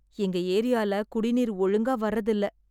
எங்க எரியால குடிநீர் ஒழுங்கா வரதில்ல